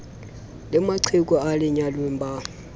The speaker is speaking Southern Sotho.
le maqheku a lenyalong ba